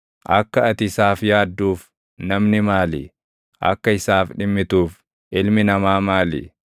akka ati isaaf yaadduuf namni maali? Akka isaaf dhimmituuf ilmi namaa maali?